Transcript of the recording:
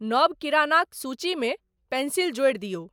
नव किरानाक सूची मे पेंसिल जोरि दियौ।